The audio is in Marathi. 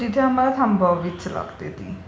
सो तिथे आम्हाला थांबवावीच लागते ती.